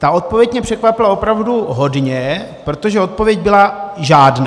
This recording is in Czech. Ta odpověď mě překvapila opravdu hodně, protože odpověď byla: Žádné.